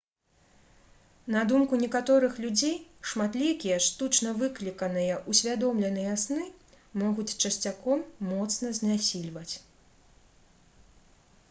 на думку некаторых людзей шматлікія штучна выкліканыя ўсвядомленыя сны могуць часцяком моцна знясільваць